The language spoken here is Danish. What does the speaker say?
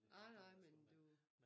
Ej nej men du